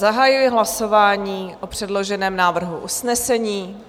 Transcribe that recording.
Zahajuji hlasování o předloženém návrhu usnesení.